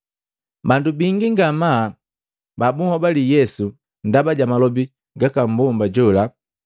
Bandu bingi ngamaa buhobali Yesu ndaba ja malobi gaka mmbomba jola.